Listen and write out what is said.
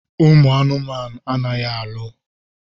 Ụmụ anụmanụ anaghị alụ.